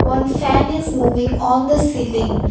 one fan is moving on the ceiling.